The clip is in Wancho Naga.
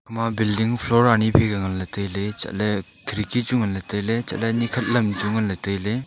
ama builling floor ani faika nganley tailey chatley khirki chu nganley tailey chatley nikhat lam chu nganley tailey.